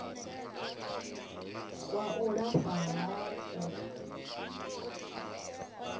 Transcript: kwa u lafha ha u